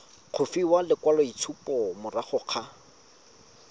go fiwa lekwaloitshupo morago ga